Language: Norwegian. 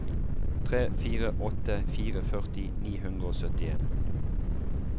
tre fire åtte fire førti ni hundre og syttien